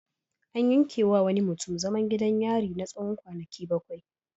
An yankewa wani mutum zaman gidan yari na tsawon kwanaki bakwai.